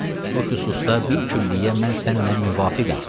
Bu xüsusda bil külliyyə mən sənnən müvafiqəm.